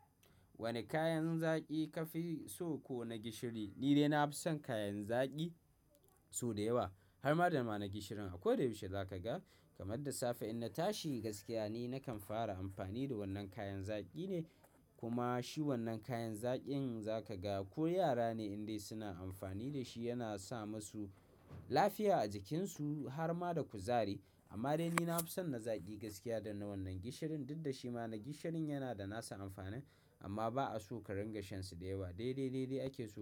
Wane kayan zaki ka fi so ko na gishiri? Ni dai na fi son kayan zaki sau da yawa har ma da mana gishirin. A ko da yaushe za ka ga kamar da safe in na tashi gaskiya ne nakan fara amfani da wannan kayan zaƙi ne. Kuma shi wannan kayan zaƙin za ka ga ko yara ne indai suna amfani da shi. Yana sa musu lafiya a jikinsu har ma da kuzari. Amma dai ni na fi son na zaƙi gaskiya da na wannan gishirin, duk da shi ma na gishirin yana da nasa amfanin amma ba a so ka ringa shansa da yawa. Dai, dai, dai, dai ake so.